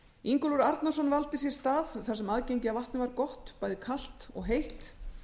ingólfur arnarson valdi sér stað þar sem aðgengi að vatni var gott bæði kalt og heitt